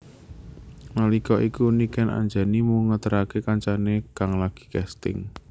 Nalika iku Niken Anjani mung ngeteraké kancané kang lagi casting